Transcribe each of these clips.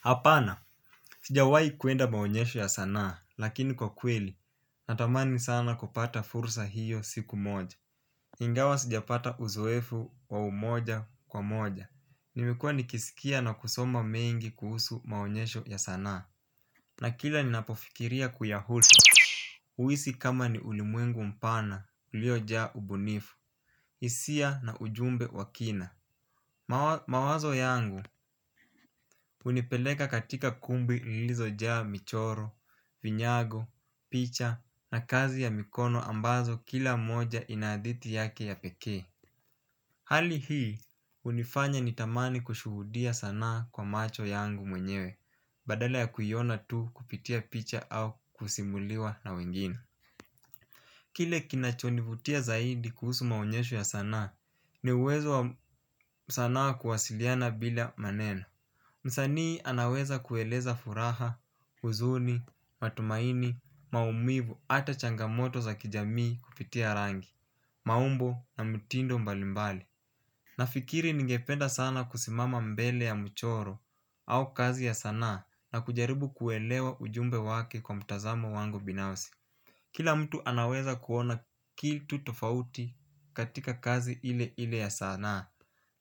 Hapana, sijawai kuenda maonyesho ya sanaa, lakini kwa kweli, natamani sana kupata fursa hiyo siku moja. Ingawa sijapata uzoefu wa umoja kwa moja. Nimekuwa nikisikia na kusoma mengi kuhusu maonyesho ya sanaa. Na kila ninapofikiria kuyahusu huhisi kama ni ulimwengu mpana, uliojaa ubunifu hisia na ujumbe wa kina. Mawazo yangu hunipeleka katika kumbi lilizojaa michoro, vinyago, picha na kazi ya mikono ambazo kila moja ina hadhiti yake ya pekee. Hali hii hunifanya nitamani kushuhudia sanaa kwa macho yangu mwenyewe badala ya kuiona tu kupitia picha au kusimuliwa na wengine. Kile kinachonivutia zaidi kuhusu maonyesho ya sanaa ni uwezo wa sana kuwasiliana bila maneno. Msanii anaweza kueleza furaha, huzuni, matumaini, maumivu, ata changamoto za kijamii kupitia rangi, maumbo na mtindo mbalimbali. Nafikiri ningependa sana kusimama mbele ya mchoro au kazi ya sanaa na kujaribu kuelewa ujumbe wake kwa mtazamo wangu binafsi. Kila mtu anaweza kuona kitu tofauti katika kazi ile ile ya sanaa.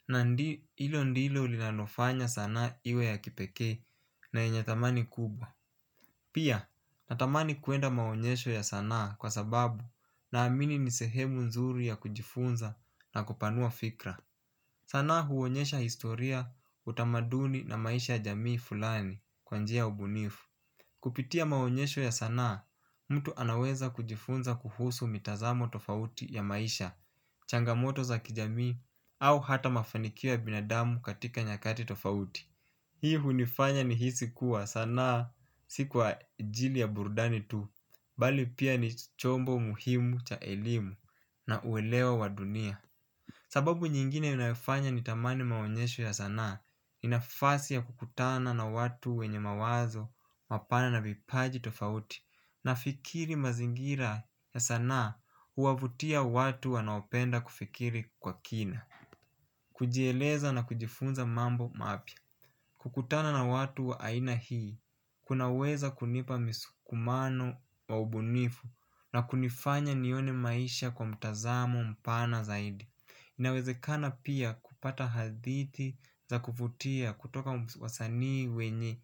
Na hilo ndilo linalofanya sana iwe ya kipekee na yenye thamani kubwa. Pia natamani kuenda maonyesho ya sanaa kwa sababu naamini ni sehemu nzuri ya kujifunza na kupanua fikra. Sanaa huonyesha historia utamaduni na maisha jamii fulani kwa njia ya ubunifu. Kupitia maonyesho ya sanaa, mtu anaweza kujifunza kuhusu mitazamo tofauti ya maisha, changamoto za kijami, au hata mafanikio ya binadamu katika nyakati tofauti. Hii hunifanya nihisi kuwa sanaa si kwa ajili ya burdani tu, bali pia ni chombo muhimu cha elimu na uelewa wa dunia. Sababu nyingine inayofanya nitamani maonyesho ya sanaa, ni nafasi ya kukutana na watu wenye mawazo mapana na vipaji tofauti nafikiri mazingira ya sanaa huwavutia watu wanaopenda kufikiri kwa kina. Kujieleza na kujifunza mambo mapya. Kukutana na watu wa aina hii, kunaweza kunipa msukumano wa ubunifu na kunifanya nione maisha kwa mtazamo mpana zaidi. Inawezekana pia kupata hadhiti za kuvutia kutoka wasanii wenye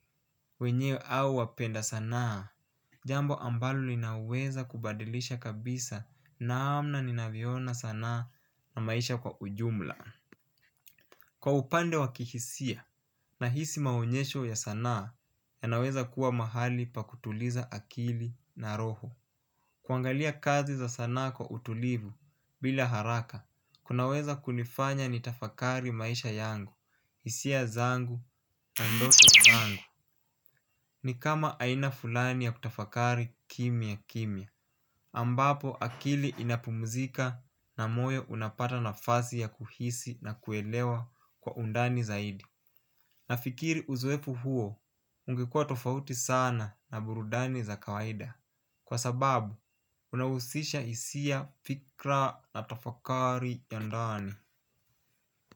wenyewe au wapenda sanaa. Jambo ambalo linaweza kubadilisha kabisa namna ninavyoona sanaa na maisha kwa ujumla. Kwa upande wa kihisia nahisi maonyesho ya sanaa yanaweza kuwa mahali pa kutuliza akili na roho. Kuangalia kazi za sana kwa utulivu bila haraka, kunaweza kunifanya nitafakari maisha yangu, hisia zangu na ndoto zangu. Ni kama aina fulani ya kutafakari kimya kimya ambapo akili inapumzika na moyo unapata nafasi ya kuhisi na kuelewa kwa undani zaidi. Nafikiri uzoefu huo, ungekuwa tofauti sana na burudani za kawaida. Kwa sababu, unahusisha hisia fikra na tafakari ya ndani.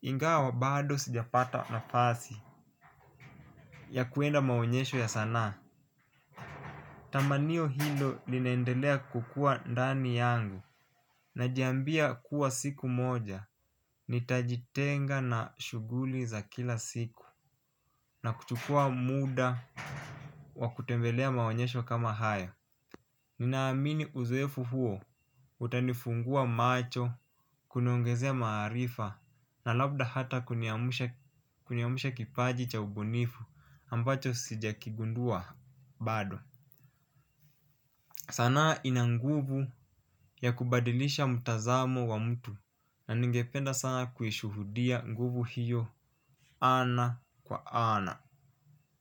Ingawa bado sijapata nafasi ya kuenda maonyesho ya sanaa. Tamanio hilo linaendelea kukua ndani yangu. Najiambia kuwa siku moja. Nitajitenga na shughuli za kila siku. Na kuchukua muda wa kutembelea maonyesho kama haya. Ninaamini uzoefu huo. Utanifungua macho. Kuniongezea maarifa na labda hata kuniamsha kipaji cha ubunifu ambacho sijakigundua bado. Sanaa ina nguvu ya kubadilisha mtazamo wa mtu. Na ningependa sana kuishuhudia nguvu hiyo. Ana kwa ana.